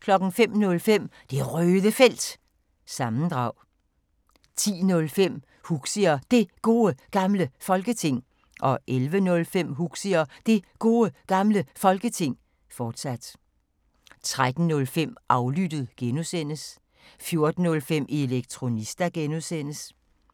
05:05: Det Røde Felt – sammendrag 10:05: Huxi og Det Gode Gamle Folketing 11:05: Huxi og Det Gode Gamle Folketing, fortsat 13:05: Aflyttet (G) 14:05: Elektronista (G) 21:05: Efter